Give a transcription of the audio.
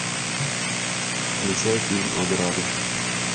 включай фильм ограды